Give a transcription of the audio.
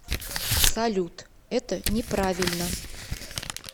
салют это не правильно